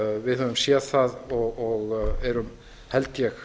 við höfum séð það og erum held ég